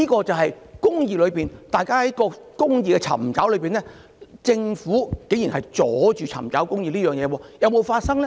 這便是大家在尋求公義時，政府卻竟然阻礙市民尋求公義，這些事有沒有發生呢？